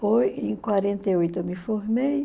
Foi em quarenta e oito eu me formei.